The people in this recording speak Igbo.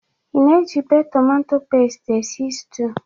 Ị na-ejibe tomato pest esi stiu?